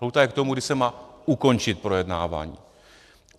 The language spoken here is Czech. Lhůta je k tomu, kdy se má ukončit projednávání.